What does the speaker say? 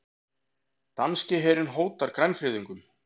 Danski herinn hótar grænfriðungum